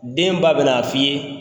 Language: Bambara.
Den ba bɛ n'a f'i ye